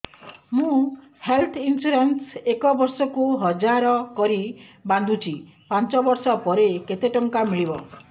ମୁ health insurance ଏକ ବର୍ଷକୁ ହଜାର କରି ବାନ୍ଧୁଛି ପାଞ୍ଚ ବର୍ଷ ପରେ କେତେ ଟଙ୍କା ମିଳିବ